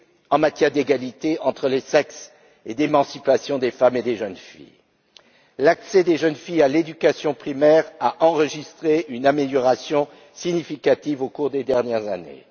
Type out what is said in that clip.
en matière d'égalité entre les sexes et d'émancipation des femmes et des jeunes filles. L'accès des jeunes filles à l'éducation primaire a enregistré une amélioration significative au cours des dernières années.